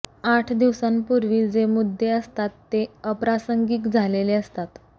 आठ दिवसांपूर्वी जे मुद्दे असतात ते अप्रासंगिक झालेले असतात